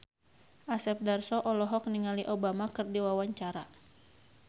Asep Darso olohok ningali Obama keur diwawancara